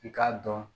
I k'a dɔn